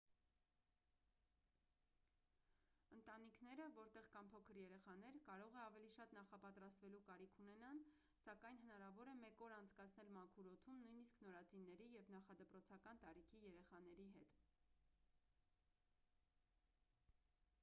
ընտանիքները որտեղ կան փոքր երեխաներ կարող է ավելի շատ նախապատրաստվելու կարիք ունենան սակայն հնարավոր է մեկ օր անցկացնել մաքուր օդում նույնիսկ նորածինների և նախադպրոցական տարիքի երեխաների հետ